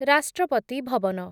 ରାଷ୍ଟ୍ରପତି ଭବନ